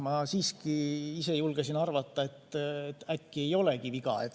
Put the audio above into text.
Ma siiski ise julgesin arvata, et äkki ei ole viga.